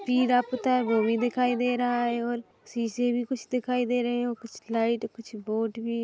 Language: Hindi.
तिरा पुता है वो भी दिखाई दे रहा है और शीशे भी कुछ दिखाई दे रहे है और कुछ लाइट कुछ बोर्ड भी--